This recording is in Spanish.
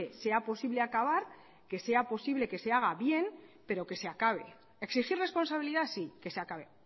sea posible acabar que sea posible que se haga bien pero que se acabe exigir responsabilidad sí que se acabe